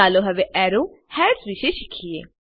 ચાલો હવે arrow heads વિષે શ્ખીએ